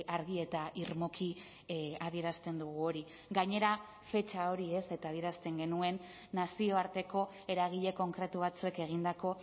argi eta irmoki adierazten dugu hori gainera fetxa hori ez eta adierazten genuen nazioarteko eragile konkretu batzuek egindako